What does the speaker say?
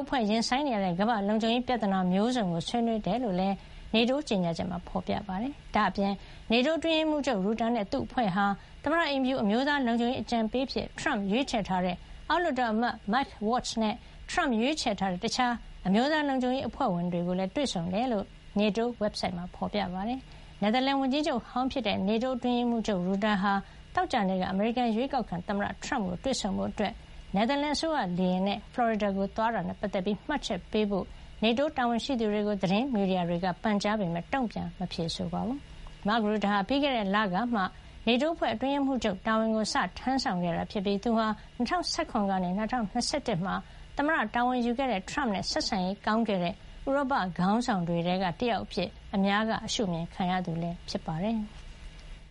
အဖွဲ့ ရင်ဆိုင်နေရတဲ့ ကမ္ဘာ့လုံခြုံရေးဆိုင်ရာ ပြဿနာမျိုးစုံကို ဆွေးနွေးခဲ့ကြတယ်လို့ NATO ကြေညာချက်မှာ ဖေါ်ပြထားပါတယ်။ ဒါ့အပြင် NATO အတွင်းရေးမှုးချုပ် ရူတာနဲ့ သူ့အဖွဲ့ဟာ သမ္မတအိမ်ဖြူ အမျိုးသားလုံခြုံရေး အကြံပေး အဖြစ် ထရမ့်ရွေးချယ်ထားတဲ့ အောက်လွှတ်တော်အမတ် Mike Waltz နဲ့ ထရမ့်ရွေးချယ်ထားတဲ့ တခြား အမျိုးသားလုံခြုံရေး အဖွဲ့ဝင်တွေ ကိုလည်း တွေ့ဆုံခဲ့တယ်လို့ NATO ဝက်ဘ်ဆိုက်စာမျက်နှာမှာ ဖော်ပြထားပါတယ်။ နယ်သာလန်ဝန်ကြီးချုပ်ဟောင်း ဖြစ်တဲ့ NATO အတွင်းရေးမှုးချုပ် ရူတာ ဟာ သောကြာနေ့က အမေရိကန် အရွေးကောက်ခံ သမ္မတထရမ့်ကို တွေ့ဆုံဖို့ နယ်သာလန်အစိုးရ လေယာဉ်နဲ့ ဖလော်ရီဒါကို သွားခဲ့တာနဲ့ ပတ်သက်ပြီး မှတ်ချက်ပေးဖို့ NATO တာဝန်ရှိသူတွေကို သတင်းမီဒီယာတွေက ပန်ကြားခဲ့ပေမယ့် တုံ့ပြန်ဖြေဆိုတာ မရှိပါဘူး။ ရူတာဟာ ပြီးခဲ့တဲ့လကမှာ NATO အဖွဲ့ရဲ့ အတွင်းရေးမှုးချုပ် တာဝန်ကို စတင်ထမ်းဆောင်ခဲ့တာ ဖြစ်ပြီး သူဟာ ၂၀၁၇ ကနေ ၂၀၂၁ မှာ သမ္မတ တာဝန်ယူခဲ့တဲ့ ထရမ့်နဲ့ ဆက်ဆံရေး ကောင်းခဲ့တဲ့ ဥရောပခေါင်းဆောင်တွေထဲက တယောက်အဖြစ် အများက ရှုမြင်ခံရသူ ဖြစ်ပါတယ်။